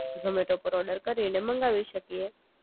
જોમેટો પર ઓર્ડર કરીને મંગાવી શકીએ